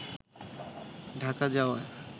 ঢাকা যাওয়ার